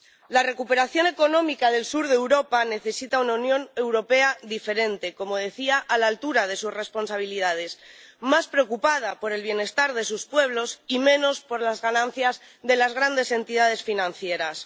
La recuperación económica del sur de Europa necesita una Unión Europea diferente —como decía— a la altura de sus responsabilidades, más preocupada por el bienestar de sus pueblos y menos por las ganancias de las grandes entidades financieras.